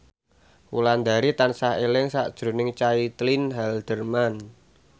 Wulandari tansah eling sakjroning Caitlin Halderman